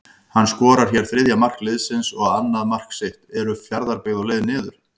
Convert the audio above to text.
HANN SKORAR HÉR ÞRIÐJA MARK LIÐSINS OG ANNAÐ MARK SITT, ERU FJARÐABYGGÐ Á LEIÐ NIÐUR???